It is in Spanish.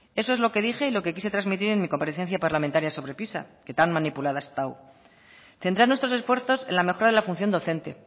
eso es lo que dije y lo que quise transmitir en mi comparecencia parlamentaria sobre pisa que tan manipulada ha estado centrar nuestros esfuerzos en la mejora de la función docente